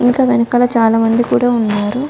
ఇంకా వెనకాల చాలా మంది కూడా ఉన్నారు.